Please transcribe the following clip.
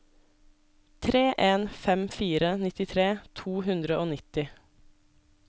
tre en fem fire nittitre to hundre og nitti